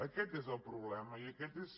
aquest és el problema i aquest és